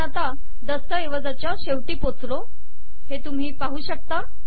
आपण दस्तऐवजाच्या शेवटी पोचलो हे तुम्ही पाहू शकता